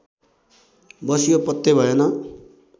बस्यो पत्तै भएन